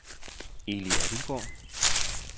Eli Abildgaard